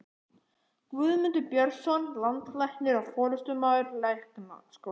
Guðmundur Björnsson, landlæknir og forstöðumaður Læknaskólans.